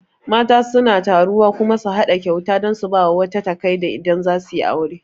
Mata suna taruwa kuma su haɗa kyauta dan su bawa wata takai idan zasu yi aure